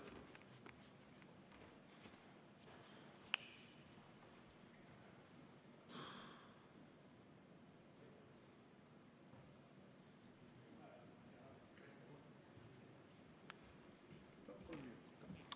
Palun kolm minutit lisaaega!